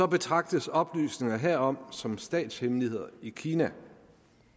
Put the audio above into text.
betragtes oplysninger herom som statshemmeligheder i kina